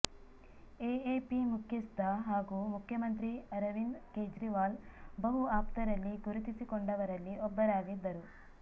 AAP ಮುಖ್ಯಸ್ಥ ಹಾಗೂ ಮುಖ್ಯಮಂತ್ರಿ ಅರವಿಂದ್ ಕೇಜ್ರಿವಾಲ್ ಬಹು ಆಪ್ತರಲ್ಲಿ ಗುರುತಿಸಿಕೊಂಡವರಲ್ಲಿ ಒಬ್ಬರಾಗಿದ್ದರು